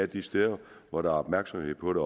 de steder hvor der er opmærksomhed på det